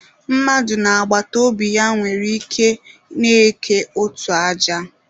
Mmadụ na agbataobi ya nwere ike na-eke otu aja.